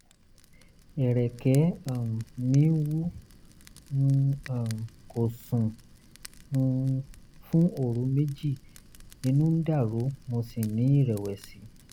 ẹ̀rẹ̀kẹ́ um mi wú n um kò sùn um fún òru méjì inú ń dàrú mo sì ní ìrẹ̀wẹ̀sì